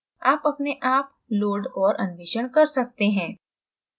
आप अपने आप load और अन्वेषण कर सकते हैं